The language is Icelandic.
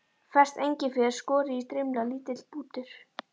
Ferskt engifer, skorið í strimla, lítill bútur